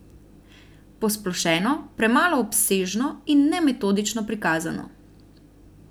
Posplošeno, premalo obsežno in nemetodično prikazano.